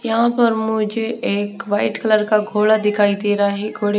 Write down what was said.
यहाँ पर मुझे एक वाइट कलर का घोड़ा दिखाई दे रहा है घोड़े --